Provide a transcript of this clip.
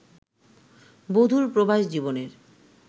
বধুর প্রবাস-জীবনের